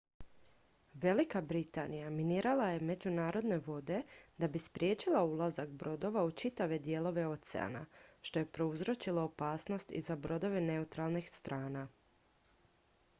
velika britanija minirala je međunarodne vode da bi spriječila ulazak brodova u čitave dijelove oceana što je prouzročilo opasnost i za brodove neutralnih strana